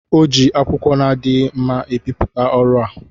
o ji akwụkwọ na-adịghị mma ebipụta ọrụ a.